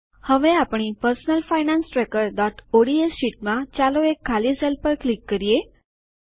હવે આપણી personal finance tracker ODS શીટમાં ચાલો એક ખાલી સેલ પર ક્લિક કરીએ